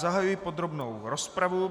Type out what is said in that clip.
Zahajuji podrobnou rozpravu.